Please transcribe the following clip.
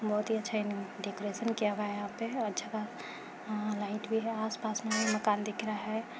बहुत ही अच्छा इन डेकरैशन किया हुआ है यहाँ पे अच्छा खासा आ लाइट भी है आस-पास में मकान दिख रहा है।